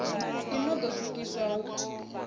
i no ḓo swikiswa hu